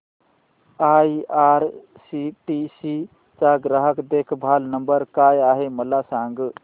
IRCTC चा ग्राहक देखभाल नंबर काय आहे मला सांग